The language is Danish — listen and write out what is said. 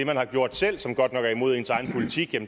man har gjort selv som godt nok er imod ens egen politik